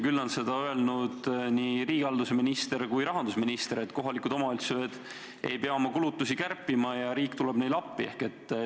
Küll on seda aga öelnud nii riigihalduse minister kui ka rahandusminister, kes on teatanud, et kohalikud omavalitsused ei pea oma kulutusi kärpima, riik tuleb neile appi.